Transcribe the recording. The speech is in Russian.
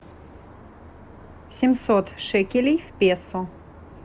семьсот шекелей в песо